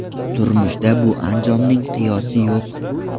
Turmushda bu anjomning qiyosi yo‘q.